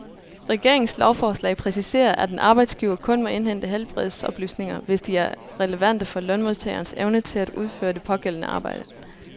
Regeringens lovforslag præciserer, at en arbejdsgiver kun må indhente helbredsoplysninger, hvis de er relevante for lønmodtagerens evne til at udføre det pågældende arbejde.